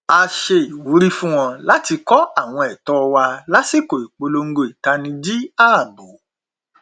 a ṣe ìwúrí fún wọn láti kọ àwọn ẹtọ wa lásikò ìpolongo ìtanijí ààbò